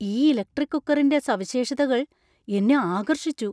ഈ ഇലക്ട്രിക് കുക്കറിന്‍റെ സവിശേഷതകൾ എന്നെ ആകർഷിച്ചു!